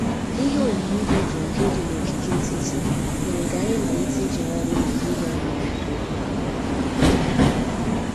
Ihe oyiyi dị jụụ nke dị n'ogige etiti mere ka anyị malite ịjegharị n'ehihie anyị n'udo